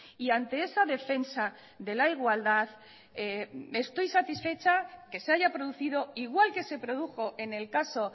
y ante esa defensa de la igualdad estoy satisfecha que se haya producido igual que se produjo en el caso